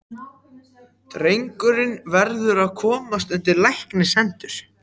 Drengurinn verður að komast undir læknishendur.